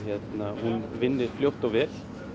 hún vinni fljótt og vel